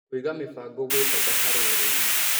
Kũĩga mĩbango gwĩ bata harĩ ũrĩmĩ